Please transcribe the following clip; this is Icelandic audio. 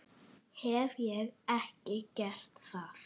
Hef ég ekki gert það?